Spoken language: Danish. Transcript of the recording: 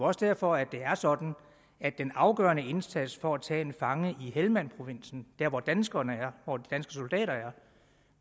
også derfor at det er sådan at den afgørende indsats for at tage en fange i helmandprovinsen der hvor danskerne er og de danske soldater